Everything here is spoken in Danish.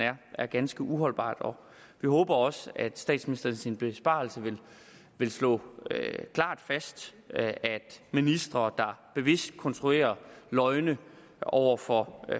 er ganske uholdbart og vi håber også at statsministeren i sin besvarelse vil slå klart fast at ministre der bevidst konstruerer løgne over for